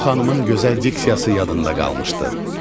O xanımın gözəl diksiyası yadında qalmışdı.